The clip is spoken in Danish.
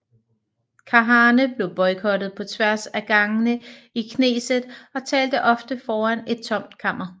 Kahane blev boykottet på tværs af gangene i Knesset og talte ofte foran et tomt kammer